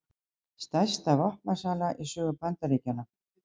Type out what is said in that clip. Stærsta vopnasala í sögu Bandaríkjanna